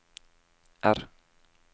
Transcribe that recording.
R